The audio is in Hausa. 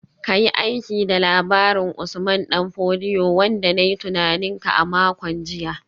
Ka yi aiki da labarin Usman Dan Fodio wanda na yi tunanin ka a makon jiya